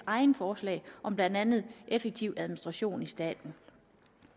egne forslag om blandt andet effektiv administration i staten